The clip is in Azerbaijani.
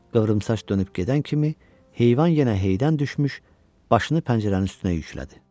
Qıvrımsaç dönüb gedən kimi heyvan yenə heydən düşmüş, başını pəncərənin üstünə yüklədi.